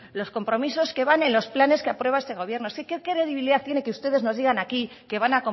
los compromisos que van en los planes que aprueba este gobierno qué credibilidad tiene que ustedes nos digan aquí que van